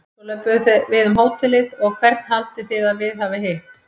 Svo löbbuðu við um hótelið og hvern haldið þið að við hafi hitt?